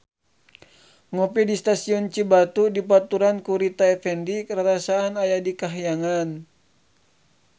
Ngopi di Stasiun Cibatu dibaturan ku Rita Effendy rarasaan aya di kahyangan